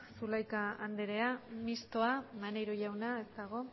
zulaika andrea mistoa maneiro jauna ez dago